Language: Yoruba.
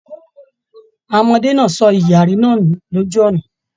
Àwọn ọmọdé náà sọ ìyàrí náà nù lójú ọnà.